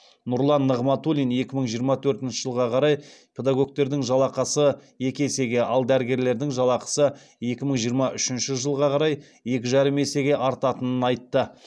нұрлан нығматулин екі мың жиырма төртінші жылға қарай педагогтердің жалақысы екі есеге ал дәрігерлердің жалақысы екі мың жиырма үшінші жылға қарай екі жарым есеге артатынын айтты